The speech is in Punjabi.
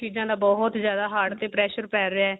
ਇਹਨਾਂ ਚੀਜ਼ਾਂ ਦਾ ਬਹੁਤ ਜਿਆਦਾ heart ਤੇ pressure ਪੈ ਰਿਹਾ